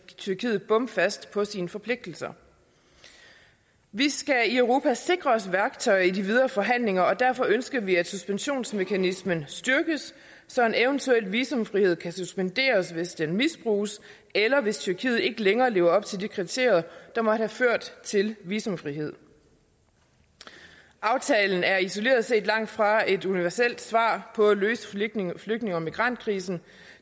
tyrkiet bomfast på sine forpligtelser vi skal i europa sikre os værktøjer i de videre forhandlinger og derfor ønsker vi at suspensionsmekanismen styrkes så en eventuel visumfrihed kan suspenderes hvis den misbruges eller hvis tyrkiet ikke længere lever op til de kriterier der måtte have ført til visumfrihed aftalen er isoleret set langt fra et universelt svar på at løse flygtninge flygtninge og migrantkrisen